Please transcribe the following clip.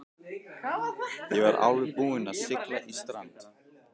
Ég var alveg búinn að sigla í strand.